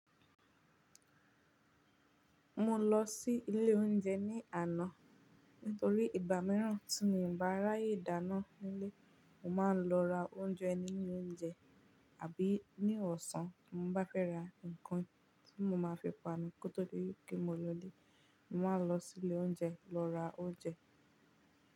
Mọ lọ sí ilé oúnjẹ ní àná nítorí ìgbà mìíràn tí mi o bá ráyè dáná nílé, mọ màá ń lọ ra oúnjẹ ní ilé oúnjẹ àbí ní ọ̀sán. Mo bá fẹ́ ra nǹkan tí mọ máa fi panu kó tó di wípé mọ lọlé, màá lọ sí ilé oúnjẹ lọ ra oúnjẹ.